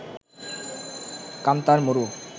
কান্তার মরু